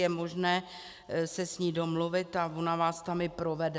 Je možné se s ní domluvit a ona vás tam i provede.